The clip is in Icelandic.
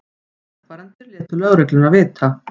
Vegfarendur létu lögregluna vita